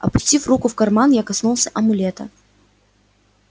опустив руку в карман я коснулся амулета